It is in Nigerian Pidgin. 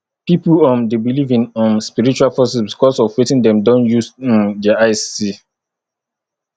pipo um de believe in um spiritual forces because of wetin dem do use um their eyes see